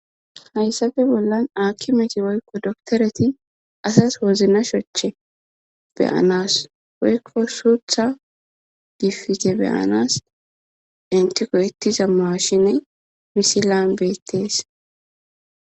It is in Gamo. Hayssafe bollan akimeti woykko doktoreti asas wozna shoche beyanas woykko suutha gifige beyanas intiko ittiza maashine misilan beettees